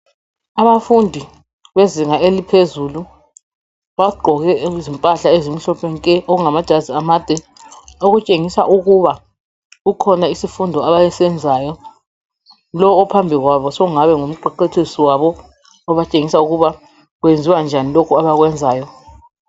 Abafundi bezinga eliphezulu, bagqoke izimpahla ezimhlophe nke! Okungamajazi amade. Lowu ophambi kwabo sekungabe kungumqeqetshisi wabo. Obatshengisa ukuthi kwenziwa njani lokho, abakwenzayo.